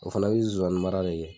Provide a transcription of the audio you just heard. O fana bi zonzanni mara de kɛ.